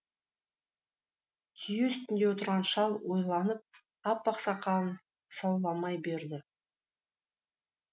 түйе үстінде отырған шал ойланып аппақ сақалын саумалай берді